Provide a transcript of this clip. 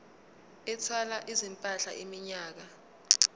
ethwala izimpahla iminyaka